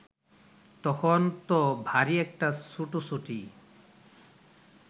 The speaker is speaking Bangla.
তখন ত ভারি একটা ছুটোছুটি